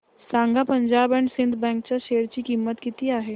सांगा Punjab and Sind bank च्या share ची किंमत किती आहे